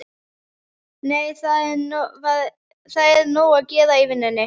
Nei, það er nóg að gera í vinnunni.